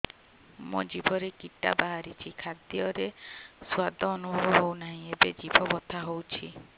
ମୋ ଜିଭରେ କିଟା ବାହାରିଛି ଖାଦ୍ଯୟରେ ସ୍ୱାଦ ଅନୁଭବ ହଉନାହିଁ ଏବଂ ଜିଭ ବଥା ହଉଛି